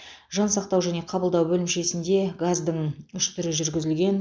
жансақтау және қабылдау бөлімшесінде газдың үш түрі жүргізілген